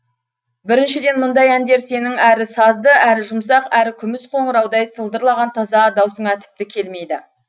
біріншіден мұндай әндер сенің әрі сазды әрі жұмсақ әрі күміс қоныраудай сылдырлаған таза даусыңа тіпті келмейді